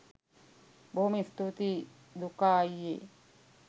බොහොම ස්තූතියි දුකා අයියෙ